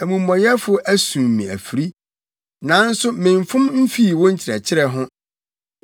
Amumɔyɛfo asum me afiri, nanso memfom mfii wo nkyerɛkyerɛ ho.